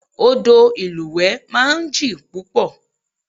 Odò ìlúwẹ̀ẹ́ máa ń jìn púpọ̀